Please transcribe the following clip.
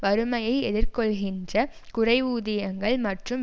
வறுமையை எதிர்கொள்ளுகின்ற குறைவூதியங்கள் மற்றும்